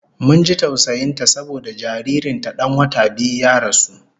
Mun ji tausayin ta saboda jaririn ta dan wata biyu ya rasu